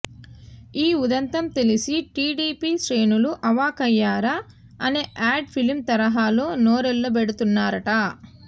ఈ ఉదంతం తెలిసి టీడీపీ శ్రేణులు అవాక్కయ్యారా అనే యాడ్ ఫిల్మ్ తరహాలో నోరెళ్లబెడుతున్నారట